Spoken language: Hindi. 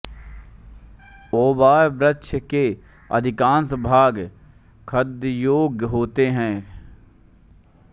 बोआब वृक्ष के अधिकांश भाग खाद्ययोग्य होते हैं